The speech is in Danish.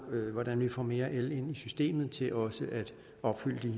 hvordan vi får mere el ind i systemet til også at opfylde